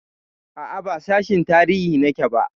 A'a, ba sashin tarihi nake ba.